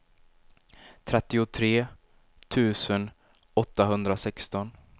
trettiotre tusen åttahundrasexton